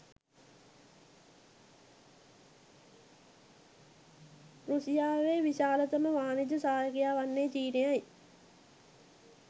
රුසියාවේ විශාලතම වාණිජ සහයකයා වන්නේ චීනයයි.